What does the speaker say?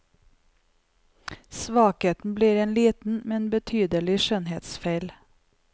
Svakheten blir en liten, men tydelig skjønnhetsfeil.